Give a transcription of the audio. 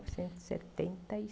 e setenta e